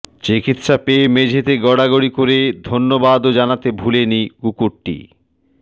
চিকিৎসা পেয়ে মেঝেতে গড়াগড়ি করে ধন্যবাদও জানাতেও ভুলেনি কুকুরটি